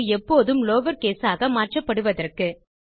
அது எப்போதும் லவர்கேஸ் ஆக மாற்றப்படுவதற்கு